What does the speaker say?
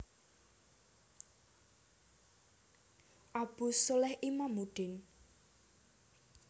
Abu sholeh Imamuddin